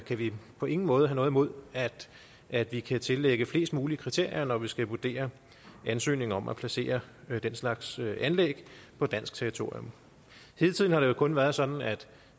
kan vi på ingen måde have noget imod at vi kan tillægge flest mulige kriterier når vi skal vurdere ansøgninger om at placere den slags anlæg på dansk territorium hidtil har det jo kun været sådan